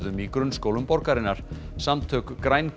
í grunnskólum borgarinnar samtök